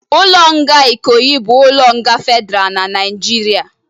Ụlọ nga Ikoyi bụ ụlọ nga fedra n'Naijiria